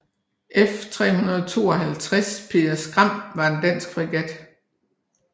F352 Peder Skram var en dansk fregat